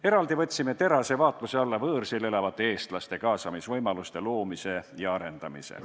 Eraldi võtsime terase vaatluse alla võõrsil elavate eestlaste kaasamisvõimaluste loomise ja arendamise.